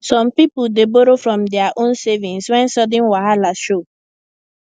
some people dey borrow from dia own savings when sudden wahala show